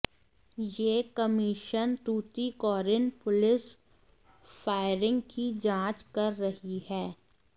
ये commission Tuticorin police firing की जांच कर रही है